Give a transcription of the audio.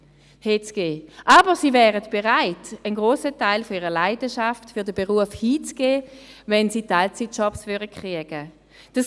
Aber sie wären bereit, einen grossen Teil ihrer Leidenschaft für den Beruf herzugeben, wenn sie Teilzeitjobs kriegen würden.